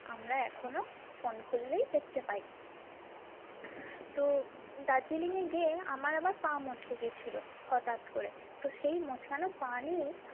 আমরা এখনো phone খুললেই দেখতে পাই তো দার্জিলিংয়ে গিয়ে আমার আবার পা মচকে গিয়েছিলো হটাৎ করে তো সেই মচকানো পা নিয়েই।